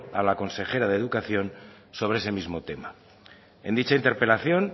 a la consejera de educación sobre ese mismo tema en dicha interpelación